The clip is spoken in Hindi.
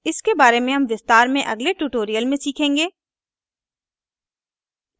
इसके बारे में हम विस्तार में अगले ट्यूटोरियल में सीखेंगे